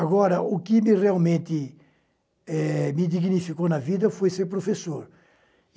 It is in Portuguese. Agora, o que me realmente eh me dignificou na vida foi ser professor.